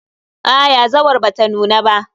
Aa yazawar bata nuna ba.